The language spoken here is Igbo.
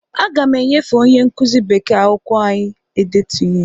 Aga m enyefe onye nkụzi bekee akwụkwọ anyị e detu ihe.